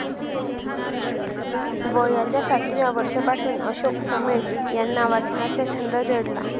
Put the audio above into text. वयाच्या सातव्या वर्षापासून अशोक समेळ यांना वाचनाचा छंद जडला.